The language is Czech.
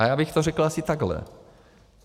A já bych to řekl asi takhle.